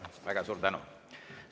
Väga suur tänu!